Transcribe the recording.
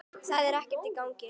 Það var ekkert í gangi.